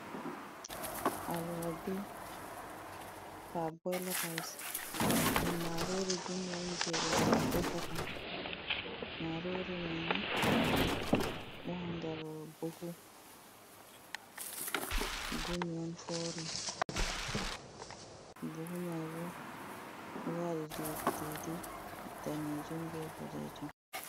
Alwabi paboil rys. Ɗum marori gumi on jei ɓe defa ta. Marori mai ni nder buhu gumi on forin. Buhu mai bo ɗo waɗi didi didi danejum be bod ɗe jum.